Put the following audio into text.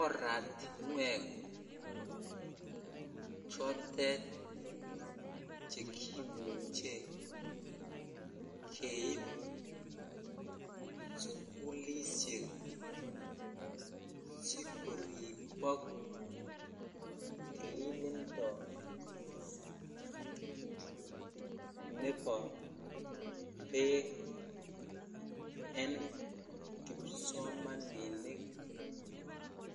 Oratinwek chotet cheimuche keib sugulishek sikoribok tililindo Nebo bek en kipsomaninik